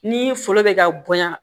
Ni foro bɛ ka bonya